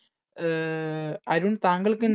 അഹ് അരുൺ താങ്കൾക്ക് എന്താ